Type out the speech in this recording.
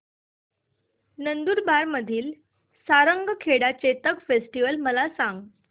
नंदुरबार मधील सारंगखेडा चेतक फेस्टीवल मला सांग